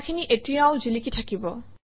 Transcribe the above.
কথাখিনি এতিয়াও জিলিকি থাকিব